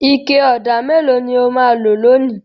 Ike ọ̀dà mélòó ni ó máa lò lónìí?